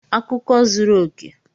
Akụkọ zuru oke!